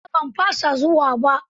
A'a ban fasa zuwa ba.